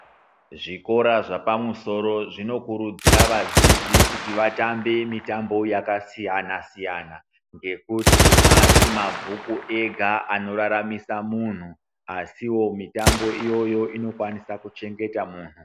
Zvikora zvapamusoro zvinokurudzira vadzidzi kuti vatambe mitambo yakasiyana-siyana. Ngekuti haasi mabhuku ega anoraramisa munhu asivo mitambo iyoyo inokwanisa kuchengeta munhu.